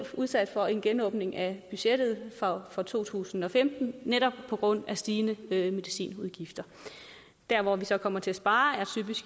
udsat for en genåbning af budgettet for to tusind og femten netop på grund af stigende medicinudgifter der hvor vi så kommer til at spare er